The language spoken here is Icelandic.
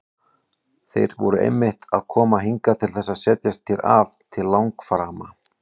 Þeir eru einmitt að koma hingað til þess að setjast hér að til langframa!